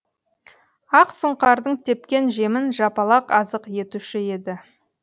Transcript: ақ сұңқардың тепкен жемін жапалақ азық етуші еді